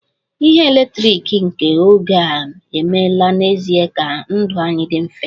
Ihe eletrik nke oge a emeela n'ezie ka ndụ anyị dị mfe